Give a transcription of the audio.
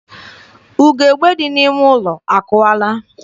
Ugebe dị n'ime ụlọ akụwaala.